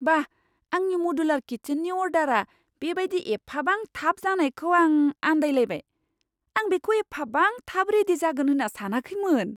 बा! आंनि मडुलार किचेननि अर्डारआ बे बायदि एफाबां थाब जानायखौ आं आनदाय लायबाय। आं बेखौ एफाबां थाब रेडि जागोन होन्ना सानाखैमोन!